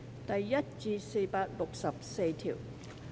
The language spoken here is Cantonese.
第1至464條。